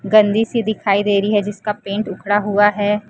गंदी सी दिखाई दे रही है जिसका पेंट उखड़ा हुआ है।